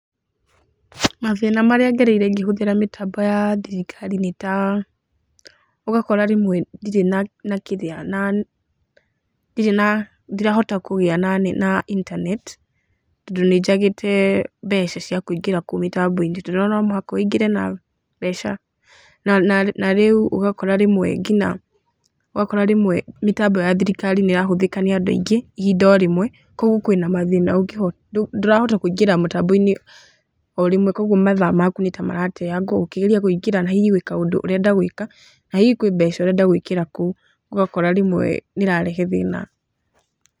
Mathĩna marĩa ngereire ngĩhũthĩra mĩtambo ya thirikari nĩ ta, ũgakora rĩmwe ndirĩ na na kĩrĩa na ndirĩ na ndirahota kũgĩa na na internet, tondũ nĩ njagĩte mbeca cia kũingĩra kũu mĩtambo-inĩ. To nĩ ũrona no mũhaka wũingĩre na mbeca, na na na rĩu ũgakora rĩmwe nginya ũgakora rĩmwe mĩtambo ya thirikari nĩ ĩrahũthĩka nĩ andũ aingĩ ihinda o rĩmwe kwoguo kwĩna mathĩna ũngĩhota, ndũrahota kũingĩra mũtambo-inĩ o rĩmwe, kwoguo mathaa maku nĩ ta marateangwo ũkĩgeria kũingĩra na hihi gwĩ kaũndũ ũrenda gwĩka, na hihi kwĩ mbeca ũrenda gwĩkĩra kũu, ũgakora rĩmwe nĩ ĩrarehe thĩna.